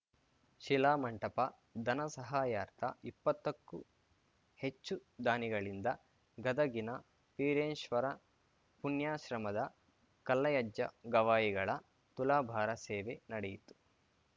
ಶಿಲಾ ಮಂಟಪ ಧನ ಸಹಾಯಾರ್ಥ ಇಪ್ಪತ್ತಕ್ಕೂ ಹೆಚ್ಚು ದಾನಿಗಳಿಂದ ಗದಗಿನ ವೀರೇಶ್ವರ ಪುಣ್ಯಾಶ್ರಮದ ಕಲ್ಲಯ್ಯಜ್ಜ ಗವಾಯಿಗಳ ತುಲಾಭಾರ ಸೇವೆ ನಡೆಯಿತು